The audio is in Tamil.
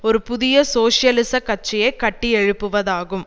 ஒரு புதிய சோசியலிச கட்சியை கட்டியெழுப்புவதாகும்